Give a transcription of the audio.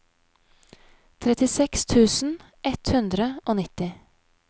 trettiseks tusen ett hundre og nitti